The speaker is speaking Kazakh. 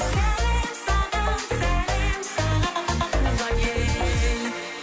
сәлем саған сәлем саған туған ел